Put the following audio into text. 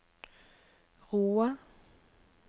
Roa